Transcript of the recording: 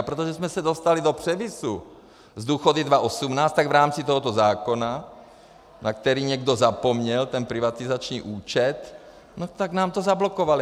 A protože jsme se dostali do převisu s důchody 2018, tak v rámci tohoto zákona, na který někdo zapomněl, ten privatizační účet, no tak nám to zablokovali.